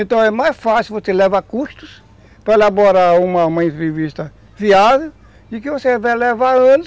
Então é mais fácil você levar custos para elaborar uma entrevista viável, e que você vai levar anos